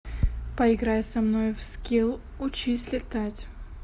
поиграй со мной в скилл учись летать